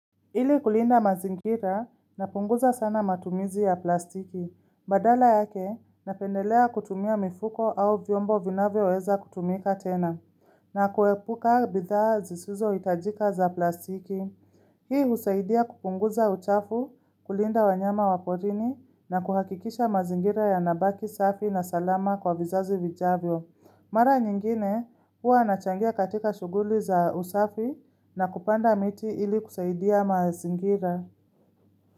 Ili kulinda mazingira napunguza sana matumizi ya plastiki. Badala yake napendelea kutumia mifuko au vyombo vinavyoweweza kutumika tena. Na kuepuka bidha zisizo itajika za plastiki. Hii usaidia kupunguza uchafu kulinda wanyama waporini na kuhakikisha mazingira ya nabaki safi na salama kwa vizazi vijavyo. Mara nyingine huwa nachangia katika shuguli za usafi na kupanda miti ili kusaidia mazingira.